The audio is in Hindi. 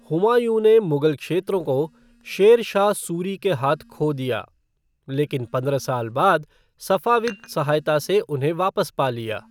हुमायूँ ने मुगल क्षेत्रों को शेर शाह सूरी के हाथ खो दिया, लेकिन पंद्रह साल बाद सफ़ाविद सहायता से उन्हें वापस पा लिया।